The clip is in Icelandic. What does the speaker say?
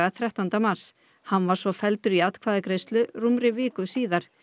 þrettánda mars hann var svo felldur í atkvæðagreiðslu rúmri viku síðar